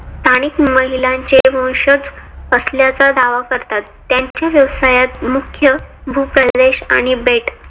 स्थानिक महिलानाचे वंशज असल्याचा दावा करतात. त्यांचे व्यवसायात मुख्य भूप्रदेश आणि बेट